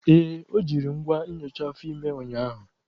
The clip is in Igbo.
Ee, o jiri ngwa nyocha afọ ime ụnyaahụ.